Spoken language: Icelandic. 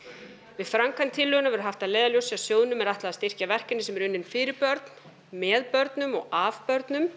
við framkvæmd tillögunnar verður haft að leiðarljósi að sjóðnum er ætlað að styrkja verkefni sem eru unnin fyrir börn með börnum og af börnum